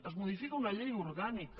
es modifica una llei orgànica